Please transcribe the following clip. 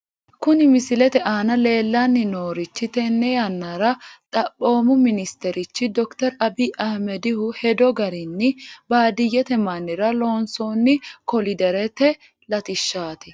Kuni misilete aana leellanni noorichi tenne yannara xaphoomu ministerichi dokiteri abiyi abbino hedo garinni baadiyyete mannira loonsoonni koliderete latishshaati .